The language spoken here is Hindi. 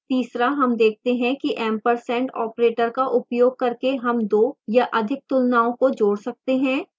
तीसरा हम देखते हैं कि ampersand operator का उपयोग करके हम दो या अधिक तुलनाओं को जोड़ सकते हैं